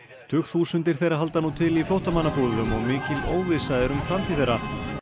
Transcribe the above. tugþúsundir þeirra halda nú til í flóttamannabúðum og mikil óvissa ríkir um framtíð þeirra